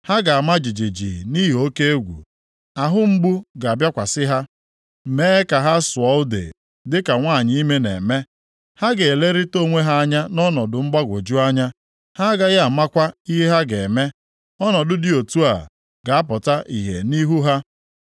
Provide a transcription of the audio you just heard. Ha ga-ama jijiji nʼihi oke egwu. Ahụ mgbu ga-abịakwasị ha mee ka ha sụọ ude dịka nwanyị ime na-eme. Ha ga-elerịta onwe ha anya nʼọnọdụ mgbagwoju anya, ha agaghị amakwa ihe ha ga-eme. Ọnọdụ dị otu a ga-apụta ihe nʼihu ha.